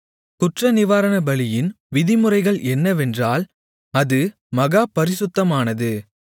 குற்றநிவாரணபலியின் விதிமுறைகள் என்னவென்றால் அது மகா பரிசுத்தமானது